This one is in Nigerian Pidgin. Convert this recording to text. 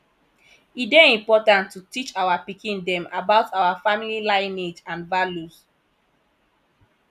e dey important to teach our pikin dem about our family lineage and values